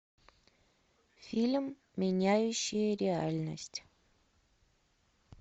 фильм меняющие реальность